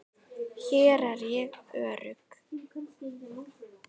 Hér er ég örugg.